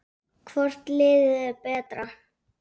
Hvort liðið er betra?